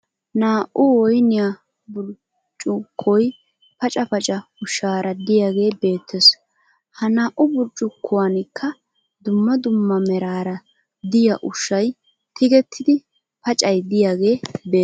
Naa"u Woyiniya burccukkoy paca paca ushshaara diyagee beettes. Ha naa"u burccukkuwankkaa dumma dumma meraara diya ushshay tigettidi pacay diyaagee beettes.